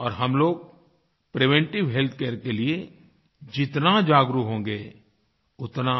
और हम लोगप्रिवेंटिव हेल्थकेयर के लिए जितना जागरूक होंगें उतना